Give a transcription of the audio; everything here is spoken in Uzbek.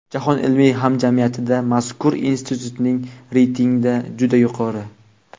Jahon ilmiy hamjamiyatida mazkur Institutning reytingda juda yuqori.